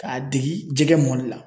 K'a degi jɛgɛ mɔni la